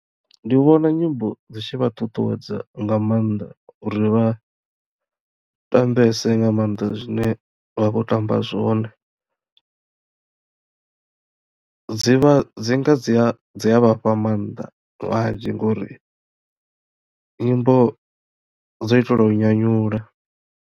Ndi vhona nyimbo dzi tshi vha ṱuṱuwedza nga mannḓa uri vha tambese nga mannḓa zwine vha khou tamba zwone, dzi vha dzi nga dzi a vhafha mannḓa manzhi ngori nyimbo dzo itelwa u nyanyula.